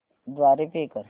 द्वारे पे कर